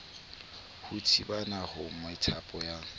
ho thibana ha methapo ya